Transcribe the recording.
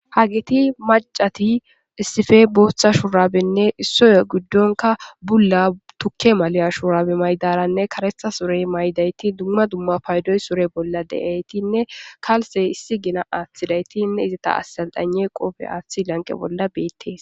hagiti macati issife booththa shuraabenne issoya giddonka bulla tukke maliya shuraabe maydaranne kareta surey maydayti dumma dumma paydoy sore bolla de7aytinne kalse issi gina aththilaytinne izata assalxane qofe aathi lanqe bolla beettees